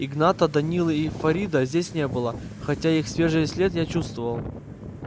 игната данилы и фарида здесь не было хотя их свежий след я чувствовал